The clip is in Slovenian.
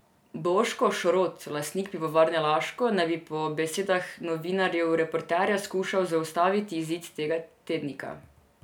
Boško Šrot, lastnik pivovarne Laško, naj bi po besedah novinarjev Reporterja skušal zaustaviti izid tega tednika.